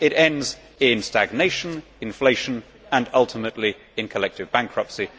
It ends in stagnation, inflation and ultimately in collective bankruptcy.